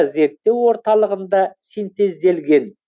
зерттеу орталығында синтезделген